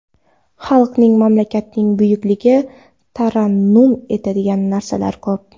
Xalqning, mamlakatning buyukligini tarannum etadigan narsalar ko‘p.